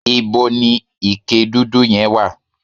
íbo ni ike dúdú yẹn wà?